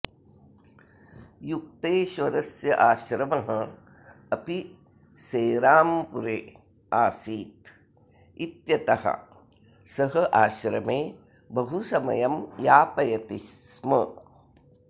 युक्तेश्वरस्य आश्रमः अपि सेराम्पुरे आसीत् इत्यतः सः आश्रमे बहु समयं यापयति स्म